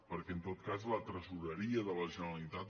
per·què en tot cas la tresoreria de la generalitat